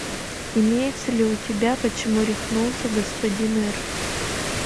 имеется ли у тебя почему рехнулся господин р